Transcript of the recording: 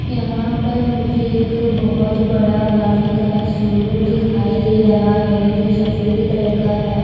यहां पर मुझे एक बहुत बड़ा गाड़ी का शोरूम दिखाई दे रहा है जो सफेद कलर का है।